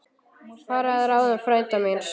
Fara að ráðum frænda míns.